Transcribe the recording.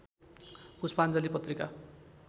पुष्पाञ्जली पत्रिका